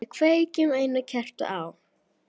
Við kveikjum einu kerti á.